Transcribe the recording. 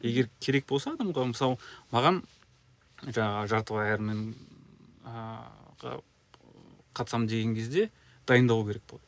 егер керек болса адамға мысалы маған жаңағы жартылай аэроменге қатысамын деген кезде дайындалу керек болады